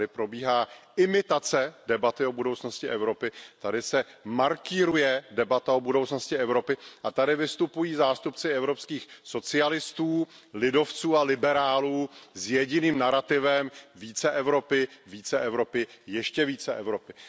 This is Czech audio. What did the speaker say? Tady probíhá imitace debaty o budoucnosti Evropy, tady se markýruje debata o budoucnosti Evropy a tady vystupují zástupci evropských socialistů, lidovců a liberálů s jediným narativem více Evropy, více Evropy, ještě více Evropy.